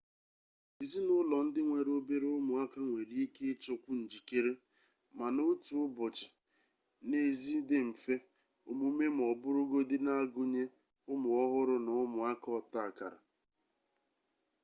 ezinụlọ ndị nwere obere ụmụaka nwere ike ịchọkwu njikere mana otu ụbọchị n'ezi dị mfe omume ma ọ bụrụgodu n'agụnye ụmụ ọhụrụ na ụmụaka ọtakara